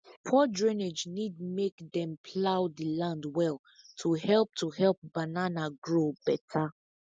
poor drainage need make dem plough the land well to help to help banana grow better